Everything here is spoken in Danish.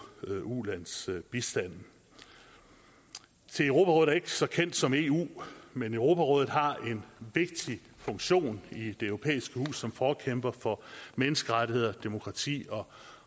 ulandsbistanden se europarådet er ikke så kendt som eu men europarådet har en vigtig funktion i det europæiske hus som forkæmper for menneskerettigheder demokrati og